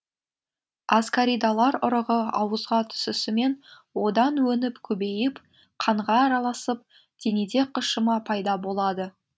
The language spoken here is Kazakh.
аскаридалар ұрығы ауызға түсісімен одан өніп көбейіп қанға араласып денеде қышыма пайда болады